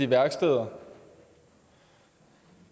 værksteder